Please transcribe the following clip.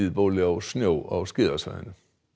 bóli á snjó á skíðasvæðinu